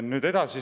Nüüd edasi.